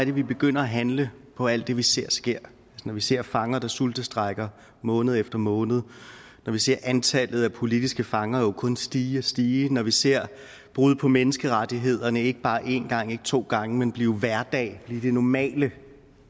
vi begynder at handle på alt det vi ser ske altså når vi ser fanger der sultestrejker måned efter måned når vi ser antallet af politiske fanger kun stige og stige når vi ser brud på menneskerettighederne ikke bare én gang ikke to gange men blive hverdag blive det normale